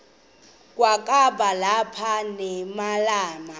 kwakaba lapha nemalana